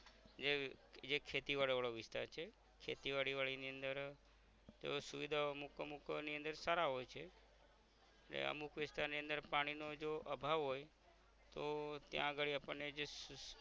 જે એક ખેતી વાડી વાળો વિસ્તાર છે ખેતી વાડી વળી ની અંદર જો સુવિધા અમુક અમૂકો ની અંદર સારા હોય છે ને અમુક વિસ્તારની અંદર પાણી નો જો અભાવ હોય તો ત્યાં અગાડી આપણ ને જે